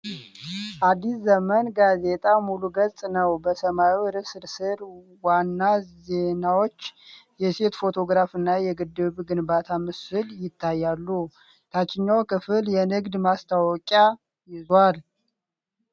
"አዲስ ዘመን" ጋዜጣ ሙሉ ገጽ ነው። በሰማያዊ ርዕስ ስር ዋና ዜናዎች፣ የሴት ፎቶግራፍ እና የግድብ ግንባታ ምስል ይታያሉ። ታችኛው ክፍል የንግድ ማስታወቂያ ይዟል።